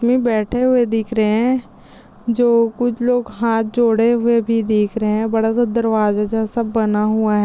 मी बैठे हुए दिख रहे है जो कुछ लोग हात जोड़े हुए भी दिख रहे बड़ा सा दरवाजा जैसा बना हुआ है।